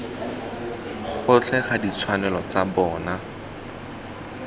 gotlhe ga ditshwanelo tsa bona